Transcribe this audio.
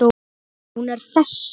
Hún er þessi